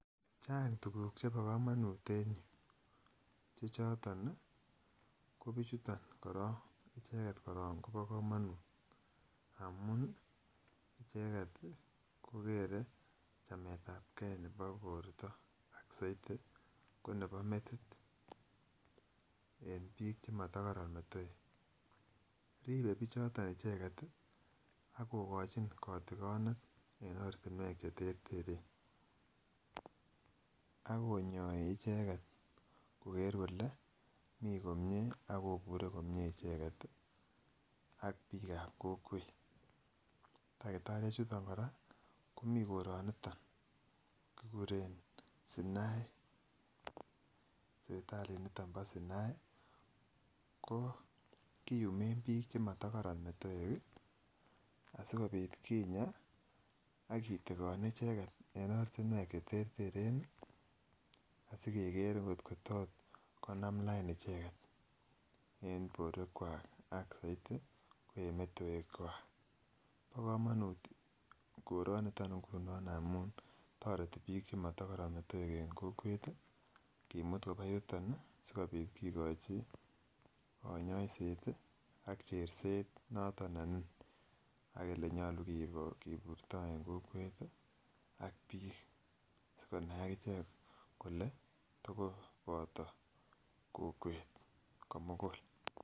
Chang tuguk chebo komonut en yuu chechoton ih kobichuton korong icheket kobo komonut amun icheket kokere chametabgee nebo borto ak soiti ko nebo metit en biik chemotokoron metoek, ribe bichoton icheket ih akokochin kotogonet en ortinwek cheterteren akonyoi icheket koker kole mii komie akobure komie icheket ih ak biikab kokwet. Takitariek chuton kora komii koroniton kikuren Sinai sipitalit niton bo Sinai ko kiyumen biik chemotokoron metoek ih asikobit kinya akitigon icheket en ortinwek cheterteren ih asikeker ngot ko tot konam line icheket en borwekkwak ak soiti ko en metoek kwak. Bo komonut koroniton ngunon amun toreti biik chemotokoron metoek en kokwet ih kimut koba yuton ih sikobit kikochi konyoiset ih ak cherset noton ne nin ak elenyolu kiburto en kokwet ih ak biik sikonai ak ichek kole tokoboto kokwet komugul